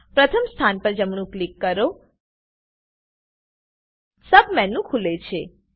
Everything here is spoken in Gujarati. પ્રથમ સ્થાન પર જમણું ક્લિક કરો સબમેનું ખુલે છે